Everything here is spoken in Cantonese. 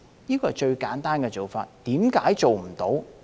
這是最簡單的做法，為何做不到？